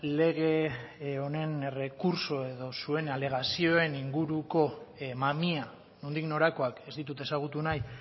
lege honen errekurtso edo zuen alegazioen inguruko mamia nondik norakoak ez ditut ezagutu nahi